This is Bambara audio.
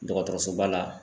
Dɔgɔtɔrɔsoba la.